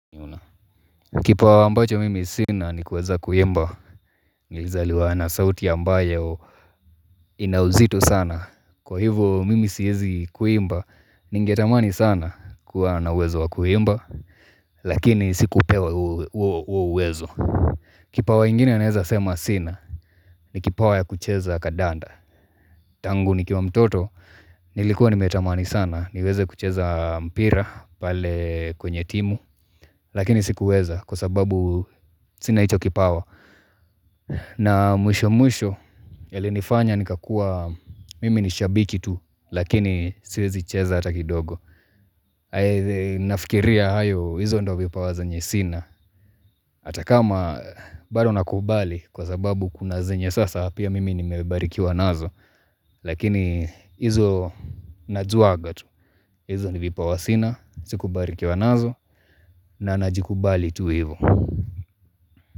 Kipawa ambacho mimi sina ni kuweza kuimba, nilizaliwa na sauti ambayo ina uzito sana. Kwa hivo mimi siezi kuimba, ningetamani sana kuwa na uwezo wa kuimba, lakini sikupewa huo uwezo. Kipawa ingine naeza sema sina ni kipawa ya kucheza kandanda. Tangu nikiwa mtoto, nilikuwa nimetamani sana niweze kucheza mpira pale kwenye timu, Lakini sikuweza kwa sababu sina hicho kipawa na mwisho mwisho yalinifanya nikakua mimi nishabiki tu Lakini siwezi cheza hata kidogo Nafikiria hayo hizo ndo vipawa zenye sina Hata kama bado nakubali kwa sababu kuna zinye sasa pia mimi nimebarikiwa nazo Lakini hizo najuaga tu hizo ni vipawa sina, sikubarikiwa nazo na najikubali tu hivo.